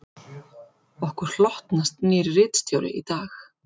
Okkur hlotnast nýr ritstjóri í dag